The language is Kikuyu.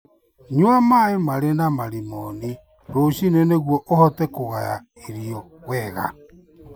Nyua maĩ marĩ na marimoni rũcinĩ nĩguo ũhote kũgaya irio wega.